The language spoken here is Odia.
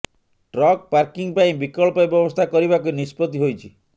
ଟ୍ରକ୍ ପାର୍କିଂ ପାଇଁ ବିକଳ୍ପ ବ୍ୟବସ୍ଥା କରିବାକୁ ନିଷ୍ପତ୍ତି ହୋଇଛି